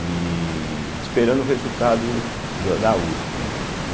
E... esperando o resultado do da uspe, né?